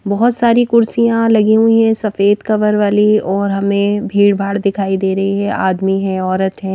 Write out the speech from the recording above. बहुत सारी कुर्सियां लगी हुई हैं सफेद कवर वाली और हमें भीड़ भाड़ दिखाई दे रही है आदमी हैं औरत हैं।